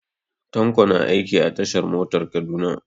Tanko na aiki a tashar motar Kaduna.